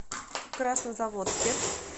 краснозаводске